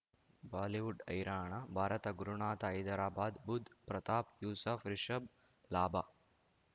Bollywood ಹೈರಾಣ ಭಾರತ ಗುರುನಾಥ ಹೈದರಾಬಾದ್ ಬುಧ್ ಪ್ರತಾಪ್ ಯೂಸಫ್ ರಿಷಬ್ ಲಾಭ